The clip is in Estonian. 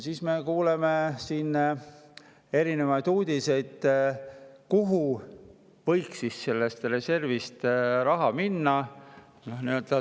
Siis me kuuleme siin erinevaid uudiseid, kuhu võiks raha sellest reservist minna.